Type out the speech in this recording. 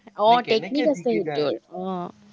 আহ